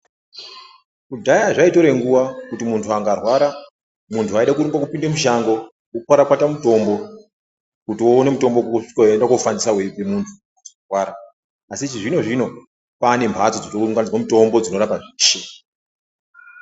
Kudhaya zvaitora nguva kuti mundu akarwara mundu waida kurimba kupinda mushango wondokwakwata mutombo kuti uona mutombo weiendafanisai weipe mundu warwara asi chizvino zvino kwane mbatso dzinounganidzwa mutombo dzinorape zveshe.